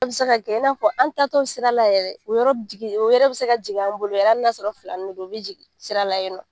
An be se ka kɛ, i n'a fɔ an taa tɔ sira la yɛrɛ u bɛ se ka jigin an bolo yɛrɛ hali n'a sɔrɔ filani de don u bi jigin sira la yen nɔ.